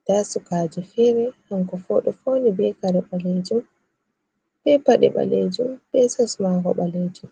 nda sukajo fere kanko fo oɗo fauni be kare ɓalejum, be paɗe ɓalejum, be sos mako ɓalejum.